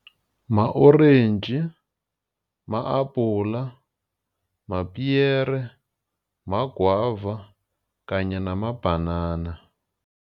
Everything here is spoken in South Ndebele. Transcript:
Ma-orentji, ma-habhula, mapiyere, maguava kanye namabhanana.